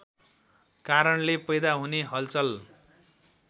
कारणले पैदा हुने हलचल